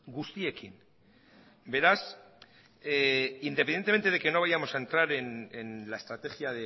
guztiekin beraz independientemente de que no vayamos a entrar en la estrategia